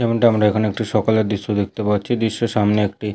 যেমনটা আমরা এখানে একটি সকালের দৃশ্য দেখতে পাচ্ছি। দৃশ্যর সামনে একটি--